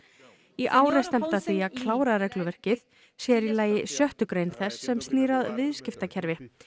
í ár er stefnt að því að klára regluverkið sér í lagi sjöttu grein þess sem snýr að viðskiptakerfi